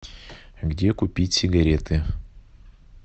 где купить сигареты